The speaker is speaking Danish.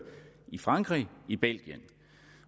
i frankrig og i belgien